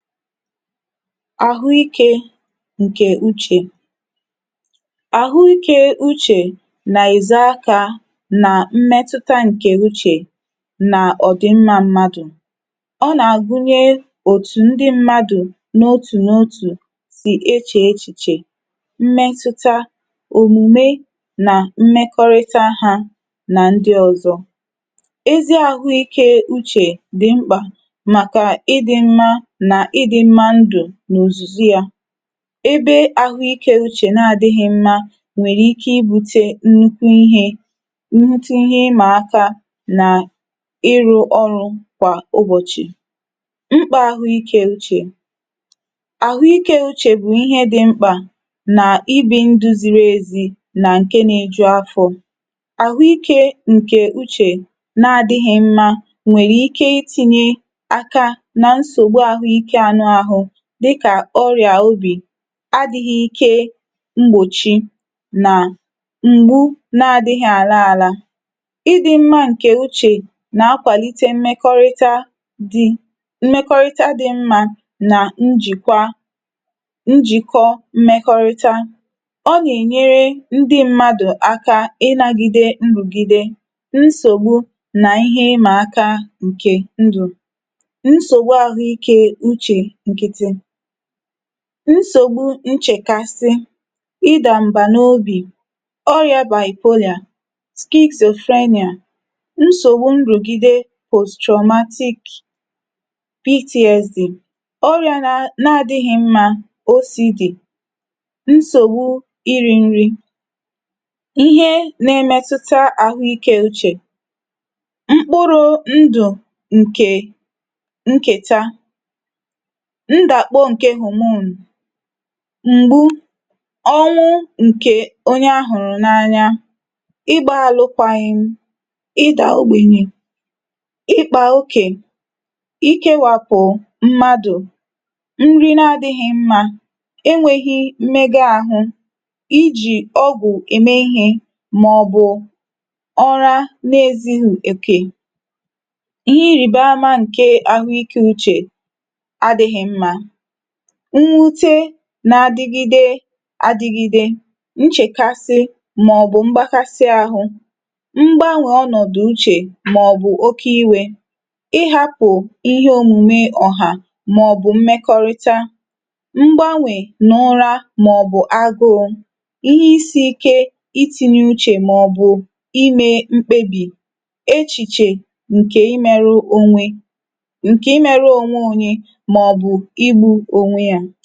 file 135 àhụ ikē ǹkè uchè. àhụ ikē uchè nà èze akā nà mmẹtụta ǹkẹ̀ uchè nà ọ̀dị̀mmā mmadù. ọ nà àgunyẹ òtù ndị mmadù n’otù na otù sì echè echìchè mmẹtụta òmùme nà mmẹkọrịta ha nà ndị ọ̀zọ. ezi ahụ ikē uchè dị̀ mkpà màkà ịdị mma nà ịdị̄ mma ndụ̀ nà ùzùzu ya. ebe ahụ ikē uchè na adịghị mmā nwẹ̀rẹ̀ ike ibūte nnukwu ịhē nnukwu ihe ị mà aka nà ịrụ̄ ọrụ̄ kwà ụbọ̀chị̀. mkpā ahụ ikē uchè. àhụ ikē uchè bụ̀ ịhẹ dị mkpà nà ibī ndū ziri ezi nà ǹkẹ na eju afọ̄. àhụ ikē ǹkè uchè na adịghị mmā nwèrè ike I tinye aka na nsògbu ahụ ikē anụ ahụ dịkà ọrị̀à obì, adị̄ghị ike mgbòchi na m̀gbu na adịghị àla ala. ịdị̄ mma ǹkè uchè nà akwàlite mmẹkọrịta dị..mmẹkọrịta dī mmā nà njìkwa, njìkọ mmẹkọrịta. ọ nà ènyere ndị mmadù aka ināgide nrùgide nsògbu, nà ihẹ ịmà aka ǹkè ndụ̀. nsògbu ahụ ikē uchē nkịtị. nsògbu nchèkasị, ịdà m̀bà n’obì, ọrịā bipolar, schizophrenia, nsògbu nrùgide post traumatic PTSD. ọrịā na adịghị mmā, OCD, nsògbu irī nri. ihe na ẹmẹtụta àhụ ikē uchè. mkpụrụ̄ ndụ̀ ǹkè nkèta, ndàkpọ ǹkẹ̀ hormone, m̀gbu, ọnwụ ǹkè onye a hụ̀rụ̀ n’anya, igbā alụkwaghịm, ịdà ogbènyè, ịkpà okè, ikēwàpụ̀ mmadù, nrị na adịghị mmā, e nweghi mmẹgẹ ahụ, ijì ọgwụ̀ ẹmẹ ịhẹ̄, mà ọ̀ bụ̀ ụra na ezughì òkè. ịhẹ ịrị̀ba amā nkẹ ahụ ikē uchè adị̄ghị mmā, mwute na adigide adigide, nchèkasị, mà ọ̀bụ̀ mgbakasị ahụ, mgbanwè ọnọ̀dụ̀ uchè, mà ọ̀ bụ̀ oke iwē, ịhāpụ̀ ịhẹ òmùme ọ̀hà màọ̀ bụ̀ mmẹkọrịta, mgbanwè n’ụra, mà ọ̀ bụ̀ aguū, ihe isī ike itinye uchè mà ọ̀ bụ̀ imē mkpebi, echìchè ǹkẹ̀ ịmẹrụ onwe, ǹkè ịmẹrụ onwe onye mà ọ̀ bụ̀ igbū onwe yā.